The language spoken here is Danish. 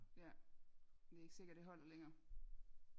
Ja det er ikke sikkert det holder længere